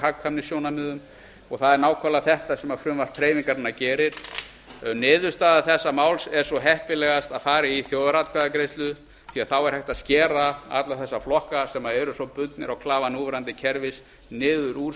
hagkvæmnissjónarmiðum það er nákvæmlega þetta sem frumvarp hreyfingarinnar gerir niðurstaða þessa máls er svo heppilegast að fara í þjóðaratkvæðagreiðslu því að þá er hægt að skera alla þessa flokka sem eru svo bundnir á klafa núverandi kerfis niður úr